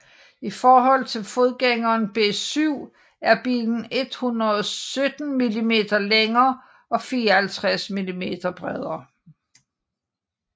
I forhold til forgængeren B7 er bilen 117 mm længere og 54 mm bredere